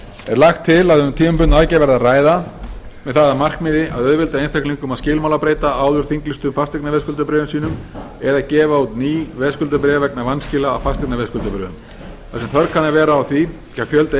er lagt til að um tímabundna aðgerð verði að ræða með það að markmiði að auðvelda einstaklingum að skilmálabreyta áður þinglýstum fasteignaveðskuldabréfum sínum eða gefa út ný veðskuldabréf vegna vanskila á fasteignaveðskuldabréfum þar sem þörf kann að vera á því hjá fjölda